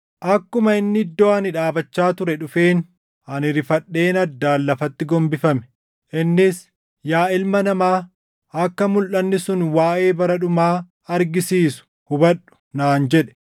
Akkuma inni iddoo ani dhaabachaa ture dhufeen ani rifadheen addaan lafatti gombifame. Innis, “Yaa ilma namaa, akka mulʼanni sun waaʼee bara dhumaa argisiisu hubadhu” naan jedhe.